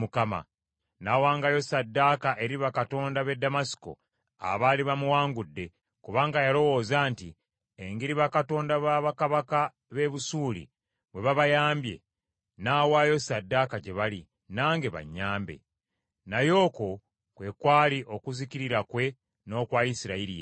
N’awangayo ssaddaaka eri bakatonda b’e Ddamasiko, abaali bamuwangudde, kubanga yalowooza nti, “Engeri bakatonda ba bakabaka b’e Busuuli bwe babayambye, nnaawaayo ssaddaaka gye bali, nange bannyambe.” Naye okwo kwe kwali okuzikirira kwe n’okwa Isirayiri yenna.